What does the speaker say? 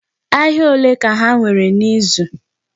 Ahịa olee ka ha nwere n'izu?